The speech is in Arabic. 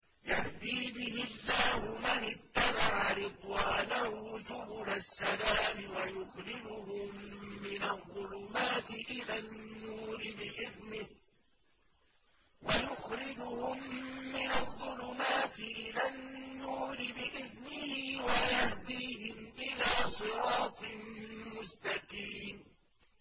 يَهْدِي بِهِ اللَّهُ مَنِ اتَّبَعَ رِضْوَانَهُ سُبُلَ السَّلَامِ وَيُخْرِجُهُم مِّنَ الظُّلُمَاتِ إِلَى النُّورِ بِإِذْنِهِ وَيَهْدِيهِمْ إِلَىٰ صِرَاطٍ مُّسْتَقِيمٍ